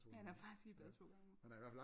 Han er faktisk i bad to gange om ugen